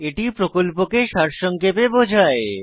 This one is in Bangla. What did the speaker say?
এটি প্রকল্পকে সারসংক্ষেপে বোঝায়